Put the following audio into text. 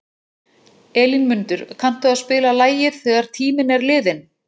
Elínmundur, kanntu að spila lagið „Þegar tíminn er liðinn“?